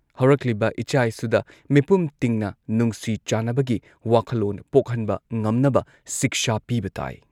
ꯍꯧꯔꯛꯂꯤꯕ ꯏꯆꯥ ꯏꯁꯨꯗ ꯃꯤꯄꯨꯝ ꯇꯤꯡꯅ ꯅꯨꯡꯁꯤ ꯆꯥꯟꯅꯕꯒꯤ ꯋꯥꯈꯜꯂꯣꯟ ꯄꯣꯛꯍꯟꯕ ꯉꯝꯅꯕ ꯁꯤꯛꯁꯥ ꯄꯤꯕ ꯇꯥꯏ ꯫